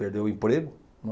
Perdeu o emprego, né.